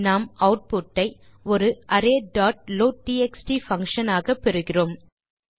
நாம் ஆட்புட் ஐ ஒரு அரே டாட் லோட்ட்எக்ஸ்ட் பங்ஷன் ஆக பெறுகிறோம்